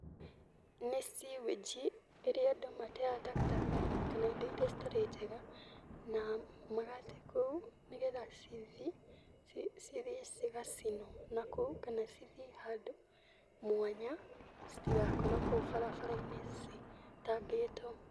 Nĩ sewage ĩrĩa andũ mateaga takataka kana indo irĩa citarĩ njega na magate kũu nĩgetha cithiĩ cigacinũo nakũu kana cithiĩ handũ mwanya citigakorũo kũu barabara-inĩ citambĩtũo.